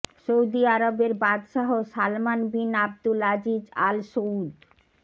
Saudi আরবের বাদশাহ Salman bin Abdul Aziz Al Saud